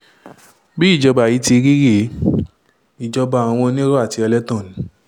bí ìjọba yìí ti rí rèé ìjọba àwọn onírọ́ àti ẹlẹ́tàn ni